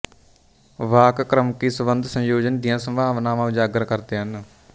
ਵਾਕ ਕ੍ਰਮਕੀ ਸੰਬੰਧ ਸੰਯੋਜਨ ਦੀਆਂ ਸੰਭਾਵਨਾਵਾਂ ਉਜਾਗਰ ਕਰਦੇ ਹਨ